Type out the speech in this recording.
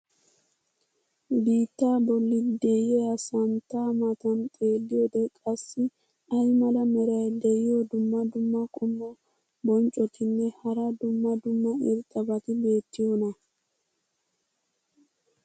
biittaa boli diya santtaa matan xeeliyode qassi ay mala meray diyo dumma dumma qommo bonccotinne hara dumma dumma irxxabati beetiyoonaa?